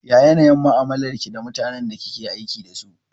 Ya yanayin mu'amalar ki da mutanen da kike aiki dasu?